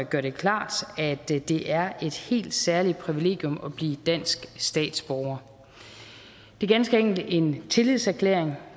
gør det klart at det det er et helt særligt privilegium at blive dansk statsborger det er ganske enkelt en tillidserklæring